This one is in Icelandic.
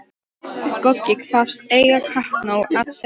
Goggi kvaðst eiga kappnóg af seðlum.